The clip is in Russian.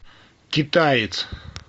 китаец